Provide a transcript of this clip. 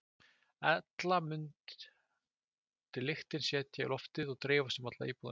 Ella mundi lyktin setjast í loftið og dreifast um alla íbúðina.